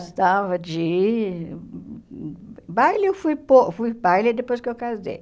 Gostava de... Baile, eu fui pou fui baile depois que eu casei.